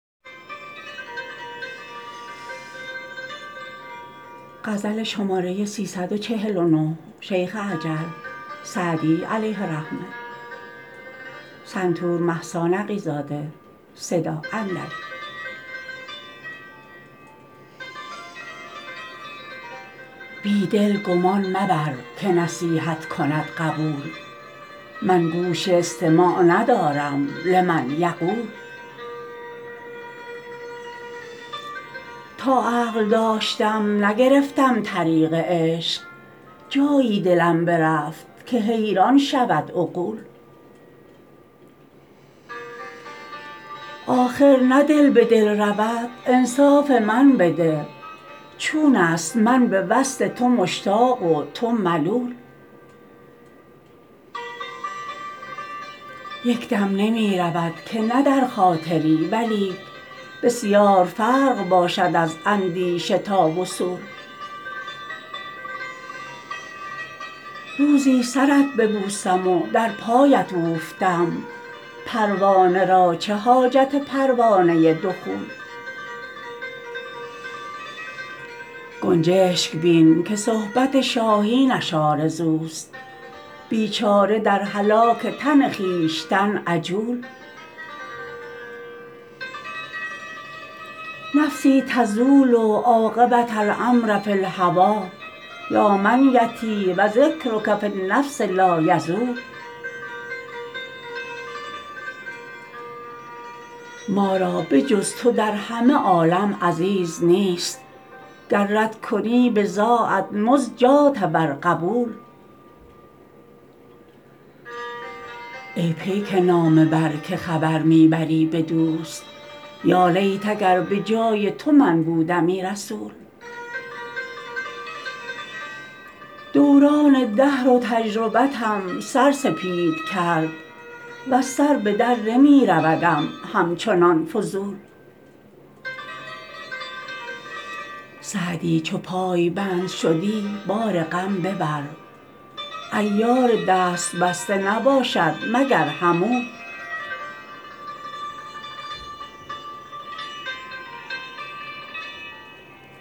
بی دل گمان مبر که نصیحت کند قبول من گوش استماع ندارم لمن یقول تا عقل داشتم نگرفتم طریق عشق جایی دلم برفت که حیران شود عقول آخر نه دل به دل رود انصاف من بده چون است من به وصل تو مشتاق و تو ملول یک دم نمی رود که نه در خاطری ولیک بسیار فرق باشد از اندیشه تا وصول روزی سرت ببوسم و در پایت اوفتم پروانه را چه حاجت پروانه دخول گنجشک بین که صحبت شاهینش آرزوست بیچاره در هلاک تن خویشتن عجول نفسی تزول عاقبة الأمر فی الهوی یا منیتی و ذکرک فی النفس لایزول ما را به جز تو در همه عالم عزیز نیست گر رد کنی بضاعت مزجاة ور قبول ای پیک نامه بر که خبر می بری به دوست یالیت اگر به جای تو من بودمی رسول دوران دهر و تجربتم سر سپید کرد وز سر به در نمی رودم همچنان فضول سعدی چو پایبند شدی بار غم ببر عیار دست بسته نباشد مگر حمول